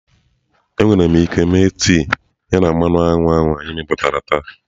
Enwere m ike me tee ya na mmanụ anyụ anyị meputá taa?